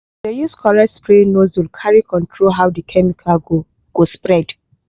dey use correct spray nozzle carry control how the chemical go go spread.